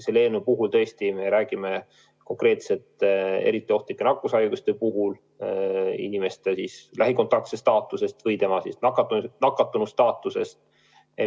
Selle eelnõu puhul me räägime eriti ohtlike nakkushaiguste puhul haige lähikontaktse staatusest ja nakatunu staatusest.